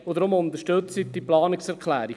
Deshalb unterstützen Sie diese Planungserklärung!